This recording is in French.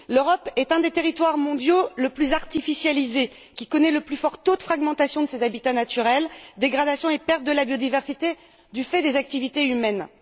L'Europe est un des territoires mondiaux les plus artificialisés, qui connaît le plus fort taux de fragmentation de ses habitats naturels, dégradation et perte de la biodiversité du fait des activités humaines.